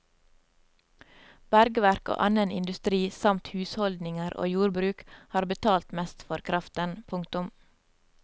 Bergverk og annen industri samt husholdninger og jordbruk har betalt mest for kraften. punktum